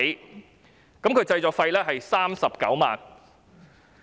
短片的製作費用是39萬元。